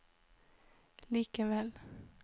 likevel